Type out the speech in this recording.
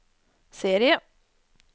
serie